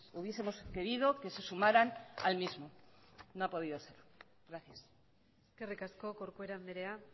hubiesemos querido que se sumaran al mismo no ha podido ser gracias eskerrik asko corcuera andrea